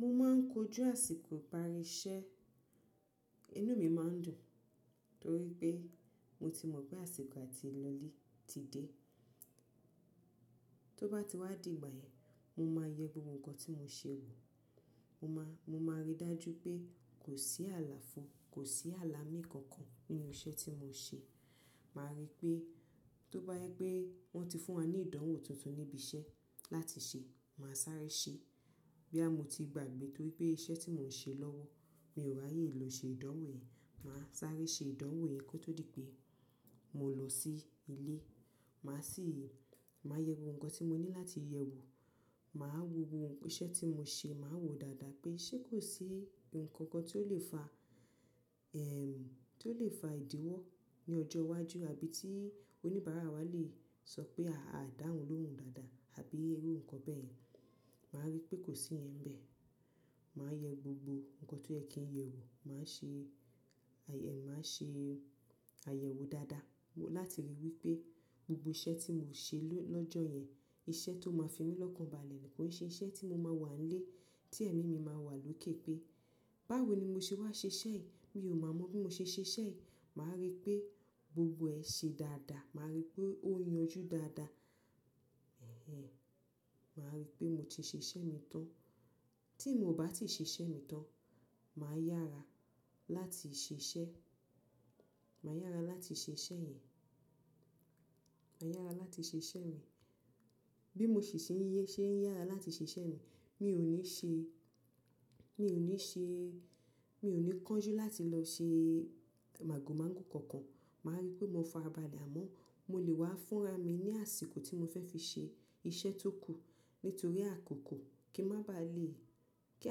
Mo máa ń kojú àsìkò ìparí iṣẹ́, inú mi máa ń dùn torí pé mo ti mọ̀ pé àsìkò àti lọ́lé ti dé. Tó bá ti wá dìgbà yẹn, mo máa yẹ gbogbo nǹkan tí mo ṣe wò, mo máa, mo máa rí dájú pé kò sí àlàfo, kò sí àlàmí kankan nínú iṣẹ́ tí mo ṣe. Màá rí pé tó bá yẹ pé wọ́n ti fún wa ní ìdánwò tuntun níbi iṣẹ́ láti ṣe, màá sáré ṣe. Bóyá mo ti gbàgbé torí pé iṣẹ́ tí mò ń ṣe lọ́wọ́, mi ò ráyè lọ ṣe ìdánwò yẹn, màá sáré ṣe ìdánwò yẹn kó tó di pé mo lọ sí ilé. Màá sì, màá yẹ gbogbo kan tí mo ní láti yẹ wò, màá wo gbogbo iṣẹ́ tí mo ṣe, màá wo dáadáa pé ṣé kò sí nǹkan kan tí ó lè fa, tí ó lè fa ìdíwọ́ ní ọjọ́ iwájú àbí tí oníbàárà wa lè sọ pé a à dáhùn lóhùn dáadáa àbí irú nǹkan bẹ́ẹ̀. Màá rí pé kò sí ìyẹn bẹ́ẹ̀. Màá yẹ gbogbo nǹkan tó yẹ kí n yẹ wò, màá ṣe, màá ṣe àyẹ̀wò dáadáa láti ri wí pé gbogbo iṣẹ́ tí mò ń ṣe lọ́jọ́ yẹn, iṣẹ́ tó máa fi mí lọ́kàn balẹ̀ ni kò ṣe iṣẹ́ tí mo máa wà nílé tí ẹ̀mí mi máa wà lókè pé báwo ni mo ṣe wá ṣe iṣẹ́ yìí, mi ò ma mọ bí mo ṣe ṣe iṣẹ́ yìí. Màá rí pé gbogbo ẹ̀ ṣe dáadáa, màá rí pé ó yanjú dáadáa. Ẹ̀hẹ́n. Màá rí pé mo ti ṣe iṣẹ́ mi tán. Tí mo ò bá ti ṣe iṣẹ́ mi tán, màá yára láti ṣe iṣẹ́, màá yára láti ṣe iṣẹ́ yẹn, màá yára láti ṣe iṣẹ́ mi. Bí mo sì ṣe ń yé ṣé ń yára láti ṣe iṣẹ́ mi, mi ò ní ṣe, mi ò ní ṣe, mi ò ní kánjú láti lọ ṣe màgòmágò kankan. Màá rí pé mo farabalẹ̀, àmọ́ mo lè wá fúnra mi ní àsìkò tí mo fẹ́ fi ṣe iṣẹ́ tó kù nítorí àkókò kí má ba à lè, kí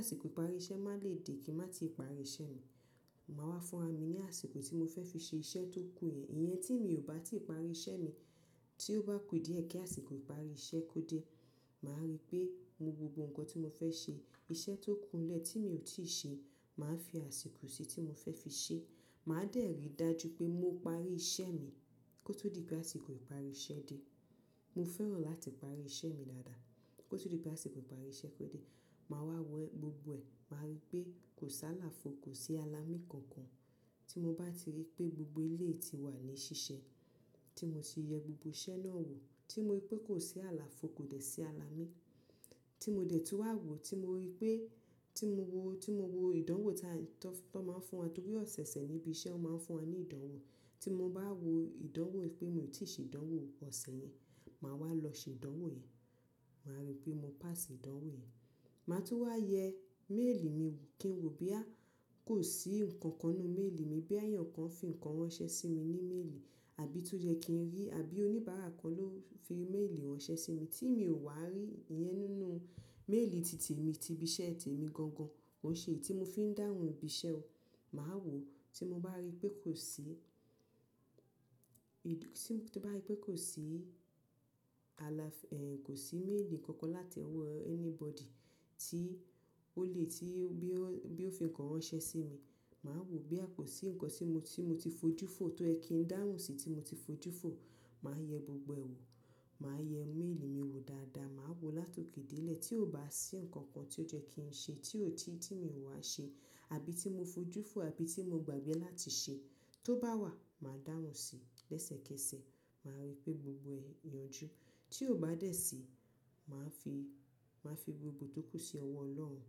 àsìkò ìparí iṣẹ́ má lè dé kí n má ti parí iṣẹ́ mi. Màá wá fúnra mi ní àsìkò tí mo fẹ́ fi ṣe iṣẹ́ tó kù yẹn. Ìyẹn tí mi ò bá ti parí iṣẹ́ mi tí ó bá ku díẹ̀ kí àsìkò ìparí iṣẹ́ kó dé, màá rí pé mo gbogbo nǹkan tí mo fẹ́ ṣe, iṣẹ́ tó kúu nlẹ̀ tí mi ò tíì ṣe, màá fi àsìkò sí tí mo fẹ́ fi ṣe. Màá dẹ̀ rí dájú pé mo parí iṣẹ́ mi kó tó di pé àsìkò ìparí iṣẹ́ dé. Mo fẹ́ràn láti parí iṣẹ́ mi dáadáa kó tó di pé àsìkò ìparí iṣẹ́ kó dé. Màá wá wẹ gbogbo ẹ̀, màá rí pé kò sí àlàfo, kò sí àlàmí kankan. Tí mo bá ti rí pé gbogbo é léyìí ti wà ní ṣíṣe tí mo sì yẹ gbogbo iṣẹ́ náà wò, tí mo rí pé kò sí àlàfo, kò dẹ̀ sí àlàmí tí mo dẹ̀ tú wá wò, tí mo rí pé tí mo wo, tí mo wo ìdánwò tá ń, tó máa ń fún wa torí ọ̀sẹ̀ẹ̀sẹ̀ níbi iṣẹ́ wọ́n máa ń fún wa ní ìdánwò. Tí mo bá wo ìdánwò pé mi ò tí ì ṣe ìdánwò ọ̀sẹ̀ yẹn, màá wá lọ ṣe ìdánwò yẹn. Màá rí pé mo pass ìdánwò yẹn. Màá tún wá yẹ méèlì mi wò kí n wo bí à kò sí nǹkan kan nínú méèlì mi bí à eyàn kan fi nǹkan ran ṣẹ́ sí mi ní méèlì àbí tó jẹ́ kí n rí àbí oníbàárà kan ló fi méèlì rán ṣẹ́ sí mi tí mi ò wá rí ìyẹn nínú méèlì tìtì mi ti ibi iṣẹ́ ti èmi gan gan. Ó ṣe éyi tí mo fi ń dáhùn ibi iṣẹ́ o. Màá wò, tí mo bá rí pé kò sí, tí mo bá rí pé kò sí àlà-- kò sí méèlì kankan láti owọ́ anybody tí ó lè tí bí ó fi nǹkan ránṣẹ́ sí mi, màá wò bí à kò sí nǹkan tí mo, tí mo ti fojú fò tó yẹ kí n dáhùn sí tí mo ti fojú fò, màá yẹ gbogbo ẹ̀ wò. Màá yẹ méèlì mi wò dáadáa, màá wò látòkè dé ilẹ̀ tí ò bá sí nǹkan kan tí ó jẹ́ kí n ṣe tí ó ti, tí mi ò wá ṣe àbí tí mo fojú fò àbí tí mo gbàgbé láti ṣe. Tó bá wà, màá dáhùn síi lẹ́sẹ̀kẹsẹ̀. Màá rí pé gbogbo ẹ̀ yanjú. Tí ò bá dẹ̀ síí, màá fi, màá fi gbogbo tó kù sí ọwọ́ Ọlọ́run.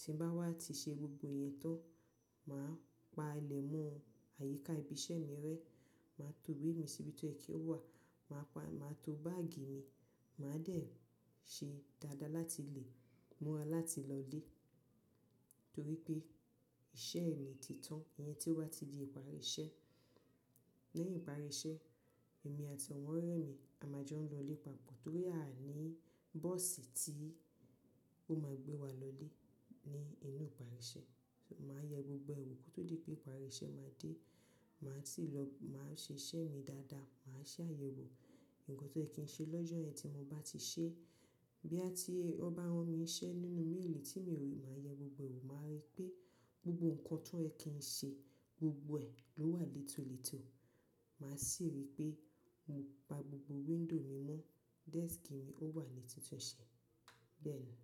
Tí n bá wá ti ṣe gbogbo ìyẹn tán, màá pa ilẹ̀ mọ́ àyíká ibi iṣẹ́ mi rẹ́, màá to ìwé mi síbi tí ó yẹ kí ó wà, màá pa, màá to báàgì mi, màá dẹ̀ ṣe dáadáa láti lè múra láti lọ ilé torí pé iṣẹ́ ẹni ti tán. Ìyẹn tí ó bá ti di ìparí iṣẹ́. Lẹ́yìn ìparí iṣẹ́, èmi àti àwọn ọ̀rẹ́ mi a máa jọ lọ ilé papọ̀ torí a ò ní bọ́ọ̀sì tí ó máa gbé wa lọ ilé ní inú ìparí iṣẹ́. Màá yẹ gbogbo ẹ̀ wò kó tó di pé ìparí iṣẹ́ máa dé. Màá sì lọ, màá ṣe iṣẹ́ mi dáadáa, màá ṣe àyẹ̀wò nǹkan tó yẹ kí n ṣe lọ́jọ́ yẹn tí mo bá ti ṣe. Bí a tí ó ba ran mi iṣẹ́ nínú méèlì tí mi ò rí, màá yẹ gbogbo ẹ̀ wò, màá rí pé gbogbo nǹkan tó yẹ kí n ṣe gbogbo ẹ̀ ló wà létólètó. Màá sì rí pé mo pa gbogbo window mi mọ́, desk mi ó wà ní tuntun ṣe. Bẹ́ẹ̀ ni.